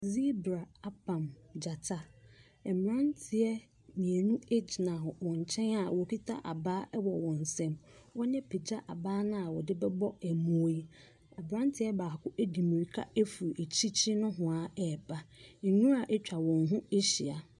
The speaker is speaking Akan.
Zebra abam gyata. Mmeranteɛ mmienu nyina wɔn nkyɛn a wɔkita abaa wɔ wɔn nsam. Wɔapagya abaa no a wɔde bɛbɔ mmoa yi. Aberanteɛ baako di mmirika firi akyirikyini nohoa reba. Nwira atwa wɔn ho ahyia.